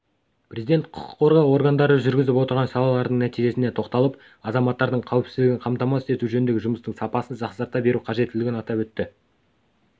президент құқық қорғау органдары жүргізіп отырған шаралардың нәтижелеріне тоқталып азаматтардың қауіпсіздігін қамтамасыз ету жөніндегі жұмыстың сапасын жақсарта беру қажеттілігін атап өтті